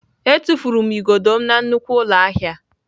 Etufuru m igodo m na nnukwu ụlọ ahịa.